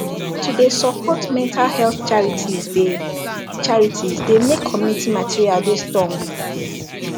to de support mental health charities de charities de make community material de stong